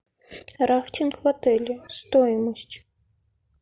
рафтинг в отеле стоимость